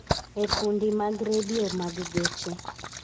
e fundi mag redio mag geche